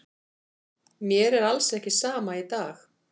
Mér er alls ekki sama í dag.